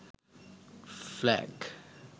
flag